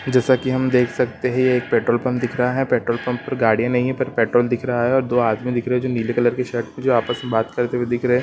--जैसा की हम देख सकते है ये एक पेट्रोल पंप दिख रहा है पेट्रोल पंप पर गाड़िया नहीं है पर पेट्रोल दिख रहा है और दो आदमी दिख रहे है जो नीले कलर की शर्ट में जो आपस में बात करते हुए दिख रहे है।